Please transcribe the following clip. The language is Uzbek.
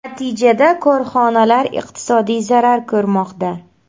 Natijada korxonalar iqtisodiy zarar ko‘rmoqda.